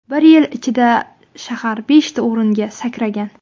Bir yil ichida shahar beshta o‘ringa sakragan.